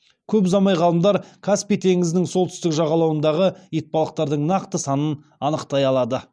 көп ұзамай ғалымдар каспий теңізінің солтүстік жағалауындағы итбалықтардың нақты санын анықтай алады